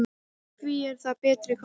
Og hví er það betri kostur?